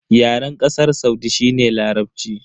Yaren Kasar Saudi shi ne Larabci.